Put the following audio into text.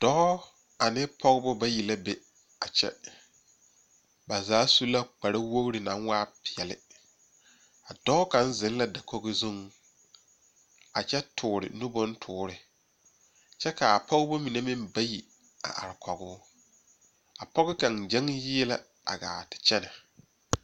Dɔɔ ane pɔgeba bayi la be a kyɛ ba zaa su la kpar woori naŋ waa peɛle dɔɔ kaŋvzeŋ la dakogi zuriŋ a kyɛ toore nu bontoore kyɛ kaa pɔgeba mine meŋ bayi a are koge o a pɔge kaŋ kyɔŋ yie la a gaa te are